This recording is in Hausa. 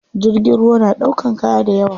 Jirgin ruwa na ɗaukan kaya dayawa.